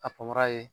A panpara ye